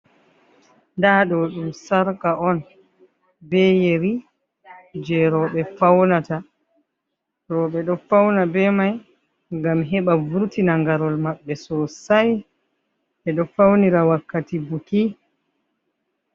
Nda ɗo ɗum sarka on be yeri je roɓe ɗo fauna be mai gam heɓa vurtina ngarol maɓɓe so sai, be ɗo faunira wakkati buki.